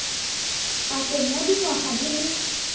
pakeng ya dingwaga di le